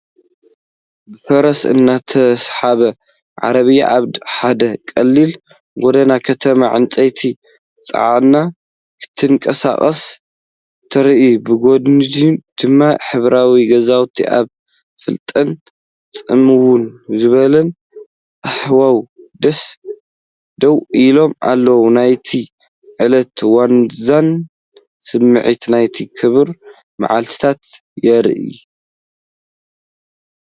ብፈረስ እትስሓብ ዓረብያ ኣብ ሓደ ቀሊል ጐደና ከተማ፡ ዕንጨይቲ ጽዒና ክትንቀሳቐስ ትርአ። ብጐድኒ ድማ ሕብራዊ ገዛውቲ ኣብ ፍሉጥን ጽምው ዝበለን ሃዋህው ደው ኢሎም ኣለዉ። ናይቲ ዕለት ዋዛን ስምዒት ናይቲ ክቡር መዓልታትን ይርአ።